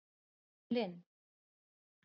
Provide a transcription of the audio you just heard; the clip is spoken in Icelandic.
Evelyn